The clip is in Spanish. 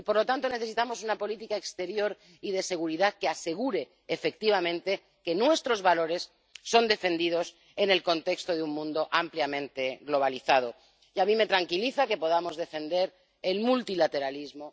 Por lo tanto, necesitamos una política exterior y de seguridad que asegure efectivamente que nuestros valores son defendidos en el contexto de un mundo ampliamente globalizado. Y a mí me tranquiliza que podamos defender el multilateralismo.